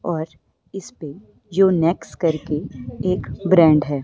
और इसपे जो नेक्स करके एक ब्रांड है।